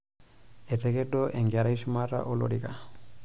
Etakedo enkerai shumata olorika.